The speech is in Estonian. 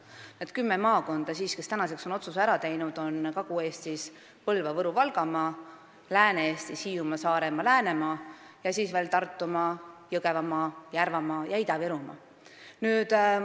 Need kümme maakonda, kes on praeguseks otsuse ära teinud, on Kagu-Eestis Põlva-, Võru- ja Valgamaa, Lääne-Eestis Hiiumaa, Saaremaa ja Läänemaa ning Tartumaa, Jõgevamaa, Järvamaa ja Ida-Virumaa.